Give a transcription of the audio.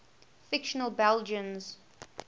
fictional belgians